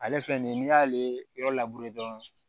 Ale filɛ nin ye n'i y'ale yɔrɔ dɔrɔn